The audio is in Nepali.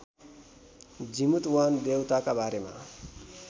जिमूतवाहन देउताका बारेमा